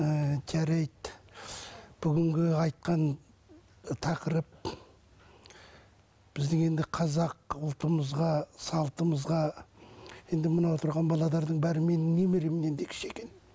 ыыы жарайды бүгінгі айтқан тақырып біздің енді қазақ ұлтымызға салтымызға енді мына отырған бәрі менің немеремнен де кіші екен